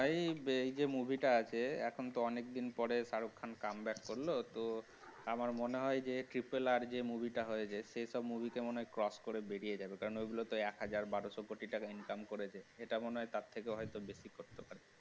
এই যে movie টা আছে এখন তো অনেকদিন পরে শাহরুখ খান come back করলেও তো আমার মনে হয় যে triple r যে টা movie টা হয়েছে সে সব movie কে মনে হয় cross করে বেরিয়ে যাবে কারণ ওইগুলো তো এক হাজার বারোশো কোটি টাকা income করেছে এটা মনে হয় তার থেকে অনেকটা বেশি হতে পারে